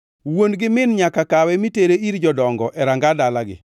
wuon gi min nyaka kawe mitere ir jodongo e ranga dalagi.